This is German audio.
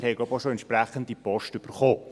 Sie haben auch entsprechende Post erhalten.